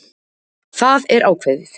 Það er ákveðið!